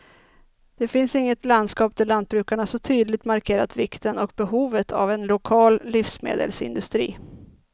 Det finns inget landskap där lantbrukarna så tydligt markerat vikten och behovet av en lokal livsmedelsindustri.